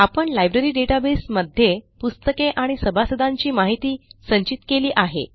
आपण library database मध्ये पुस्तके आणि सभासदांची माहिती संचित केली आहे